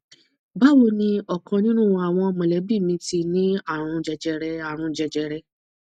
báwo ni ọkan nínú àwọn mọlẹbí mi ti ní àrùn jẹjẹrẹ àrùn jẹjẹrẹ